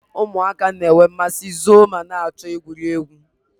Ụmụaka na-enwe mmasị zoo ma na-achọ egwuregwu